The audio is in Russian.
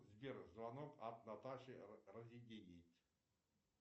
сбер звонок от наташи разъединить